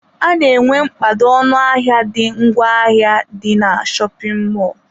A na-enwe nkpado ọnụ ahịa the ngwa ahịa dị na shopin mọlụ.